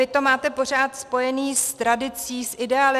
Vy to máte pořád spojené s tradicí, s ideály.